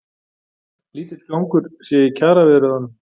Lítill gangur sé í kjaraviðræðunum